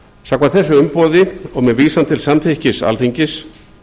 samkvæmt þessu umboði og með vísan til samþykkis alþingis